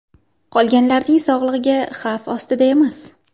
Qolganlarning sog‘lig‘i xavf ostida emas.